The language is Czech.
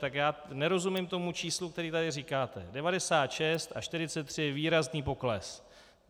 Tak já nerozumím tomu číslu, které tady říkáte, 96 a 43 je výrazný pokles.